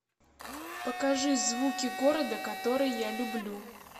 покажи звуки города который я люблю